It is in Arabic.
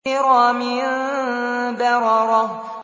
كِرَامٍ بَرَرَةٍ